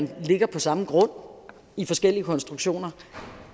de ligger på samme grund i forskellige konstruktioner